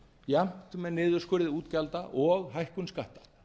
jafnt með niðurskurði útgjalda og hækkun skatta